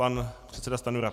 Pan předseda Stanjura.